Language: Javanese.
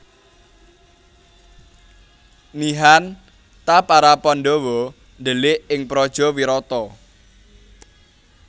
Nihan ta para Pandhawa ndhelik ing praja Wirata